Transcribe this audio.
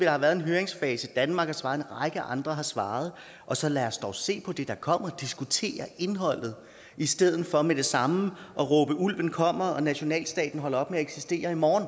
har været en høringsfase i danmark og en række andre har svaret så lad os dog se på det der kommer diskutere indholdet i stedet for med det samme at råbe ulven kommer og nationalstaten holder op med at eksistere i morgen